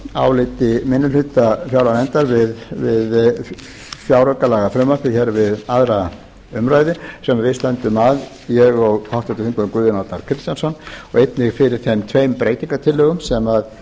áliti minni hluta fjárlaganefndar við fjáraukalagafrumvarpið hér við aðra umræðu sem við stöndum að ég og háttvirtir þingmenn guðjón arnar kristjánsson og einnig fyrir þeim tveim breytingartillögum sem